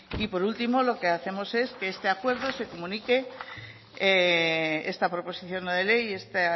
y por último lo que hacemos es que este acuerdo se comunique esta proposición no de ley y esta